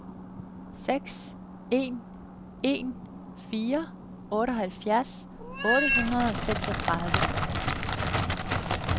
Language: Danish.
seks en en fire otteoghalvfjerds otte hundrede og seksogtredive